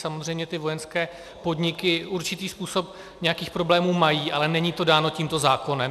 Samozřejmě ty vojenské podniky určitý způsob nějakých problémů mají, ale není to dáno tímto zákonem.